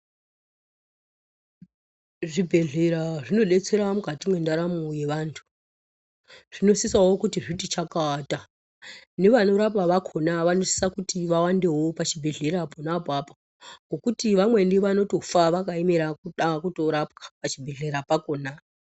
Zvibhedhlera zvinodetsera mukati mendaramo yevantu zvinosisa zvitiwo chakata nevanowandawo vanosisa vawandewo pachibhedhlera pona apapo ngekuti vamweni vanotofa vakaemera kurapwa pachibhedhlera pakona.